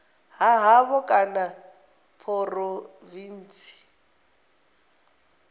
ha havho kana ya phurovintsi